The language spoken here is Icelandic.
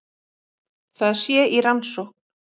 Það sé í rannsókn